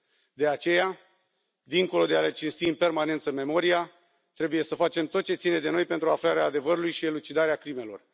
De aceea, dincolo de a le cinsti în permanență memoria, trebuie să facem tot ce ține de noi pentru aflarea adevărului și elucidarea crimelor.